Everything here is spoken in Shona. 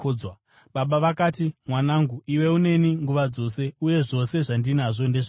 “Baba vakati, ‘Mwanangu, iwe uneni nguva dzose, uye zvose zvandinazvo ndezvako.